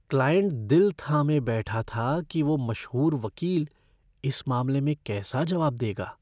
Client दिल थामे बैठा था कि वो मशहूर वकील इस मामले में कैसा जवाब देगा।